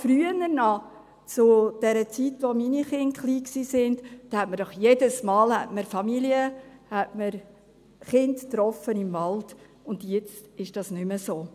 Früher, zur Zeit, als meine Kinder klein waren, traf man im Wald jedes Mal Familien und Kinder an, und jetzt ist das nicht mehr so.